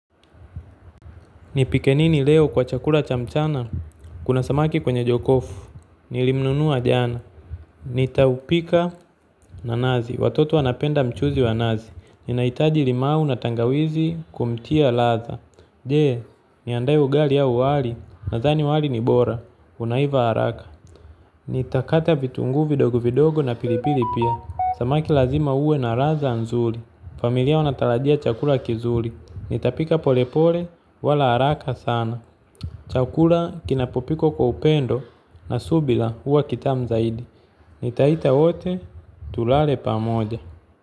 Nipike nini leo kwa chakula cha mchana? Kuna samaki kwenye jokofu, nilimnunua jana, nitaupika na nazi, watoto wanapenda mchuzi wa nazi, ninahitaji limao na tangawizi kumtia ladha. Je, niandae ugali ya wali? Nadhani wali ni bora, unaiva haraka. Nitakata vitunguu vidogo vidogo na pilipili pia. Samaki lazima uwe na ladha nzuri, familia wanatarajia chakula kizuri. Nitapika polepole wala haraka sana. Chakula kinapopikwa kwa upendo na subira, huwa kitamu zaidi. Nitaita wote tulale pamoja.